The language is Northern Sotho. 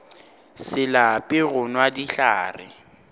se lape go nwa dihlare